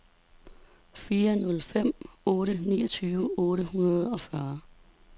fire nul fem otte niogtyve otte hundrede og fyrre